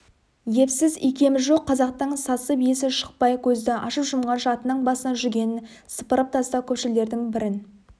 епсіз икемі жоқ қазақтың сасып есі шықпай көзді ашып-жұмғанша атының басынан жүгенін сыпырып тастап көпшілдердің бірін